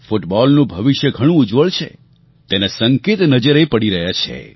ફૂટબૉલનું ભવિષ્ય ઘણું ઉજ્જવળ છે તેના સંકેત નજરે પડી રહ્યા છે